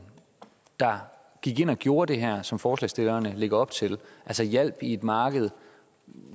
der gik ind og gjorde det her som forslagsstillerne lægger op til altså hjalp i et marked